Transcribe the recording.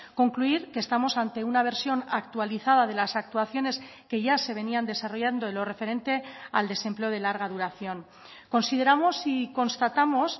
concluir que estamos ante una versión actualizada de las actuaciones que ya se venían desarrollando en lo referente al desempleo de larga duración consideramos y constatamos